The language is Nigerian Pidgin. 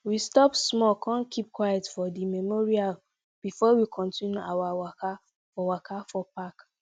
we stop small con keep quiet for di memorial before we continue our waka for waka for park